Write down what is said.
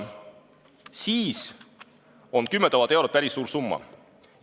Siis on 10 000 eurot päris suur summa.